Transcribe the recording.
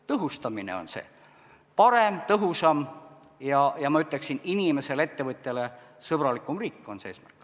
Tõhustamine, parem, tõhusam ja ma ütleksin, et inimesele ja ettevõtjale sõbralikum riik on eesmärk.